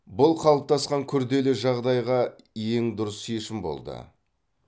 бұл қалыптасқан күрделі жағдайға ең дұрыс шешім болды